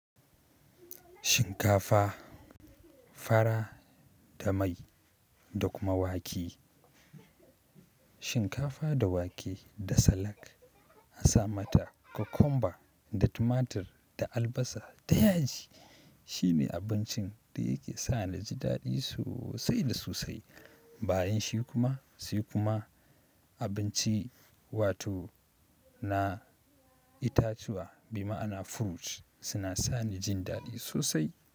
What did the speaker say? Shinkafa, fara da mai da kuma wake. Shinkafa da wake da salak a sa mata cucumber da tumatir da albasa da yaji. Shi ne abincin da yake sa ni na ji daɗi sosai da sosai. Bayan shi kuma sai kuma abinci wato na itatuwa bi ma'ana fruit suna sa ni jin daɗi sosai.